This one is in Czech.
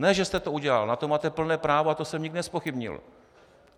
Ne že jste to udělal, na to máte plné právo a to jsem nikdy nezpochybnil.